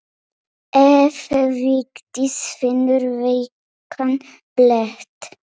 Ef Vigdís finnur veikan blett.